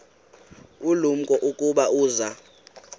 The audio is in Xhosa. ulumko ukuba uza